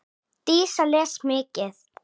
Dísa les mikið.